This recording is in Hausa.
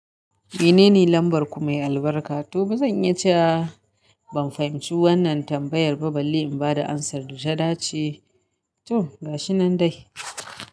Menene lambarku mai albarka? To, bazan iya cewa ban fahimci wannan tambayar ba balle in ba da ansar da ta dace. To, gashi nan dai.